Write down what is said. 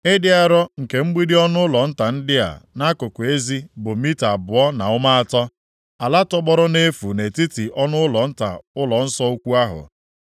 Ịdị arọ nke mgbidi ọnụụlọ nta ndị a nʼakụkụ ezi bụ mita abụọ na ụma atọ. Ala tọgbọrọ nʼefu nʼetiti ọnụụlọ nta ụlọnsọ ukwu ahụ,